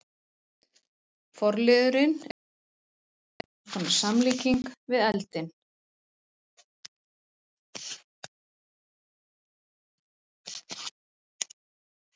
Forliðurinn er einkum notaður sem eins konar samlíking við eldinn.